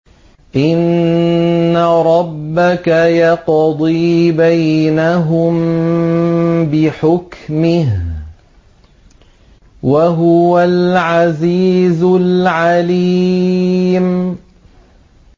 إِنَّ رَبَّكَ يَقْضِي بَيْنَهُم بِحُكْمِهِ ۚ وَهُوَ الْعَزِيزُ الْعَلِيمُ